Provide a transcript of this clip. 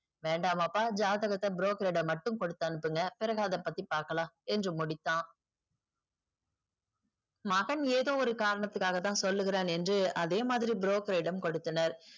வேண்டாமப்பா ஜாதகத்த broker ரிடம் மட்டுமே குடுத்து அனுப்புங்க பிறகு அதபத்தி பாக்கலாம் என்று முடித்தான் மகன் ஏதோ ஒரு காரணத்துகாகதான் சொல்லுகிறான் என்று அதேமாதிரி broker ரிடம் கொடுத்தனர்